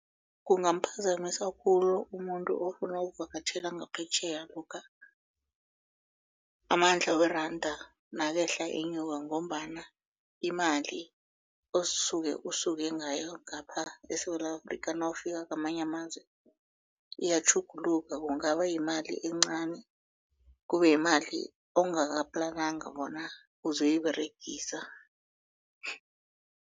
Kungamphazamisa khulu umuntu ofuna ukuvakatjhela ngaphetjheya lokha amandla weranda nakehla enyuka ngombana imali osuke usuke ngayo ngapha eSewula Afrika nawufika kwamanye amazwe iyatjhuguluka kungaba yimali encani kube yimali ongakaplananga bona uzoyiberegisa.